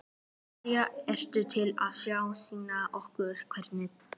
María: Ertu til í að sýna okkur einhverja titla?